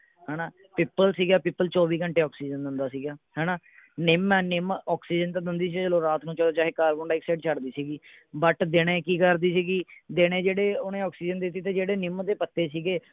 ਹੈ ਨਾ ਪਿੱਪਲ ਸੀਗਾ ਪਿੱਪਲ ਚੌਵੀ ਘੰਟੇ ਆਕਸੀਜਨ ਦਿੰਦਾ ਸੀਗਾ ਹੈ ਨਾ ਨਿੱਮ ਹੈ ਨਿੱਮ ਆਕਸੀਜ਼ਨ ਤਾਂ ਦਿੰਦੀ ਹੀ ਸੀ ਚਲੋ ਰਾਤ ਨੂੰ ਚਲੋ ਚਾਹੇ ਕਾਰਬਨਡਾਈਆਕਸਾਈਡ ਛੱਡਦੀ ਸੀਗੀ but ਦੀਨੇ ਕੀ ਕਰਦੀ ਸੀਗੀ ਦੀਨੇ ਓਹਨੇ ਜਿਹੜੀ ਆਕਸੀਜ਼ਨ ਦੇ ਦਿੱਤੀ ਤੇ ਜਿਹੜੇ ਨਿੱਮ ਦੇ ਪੱਤੇ ਸੀਗੇ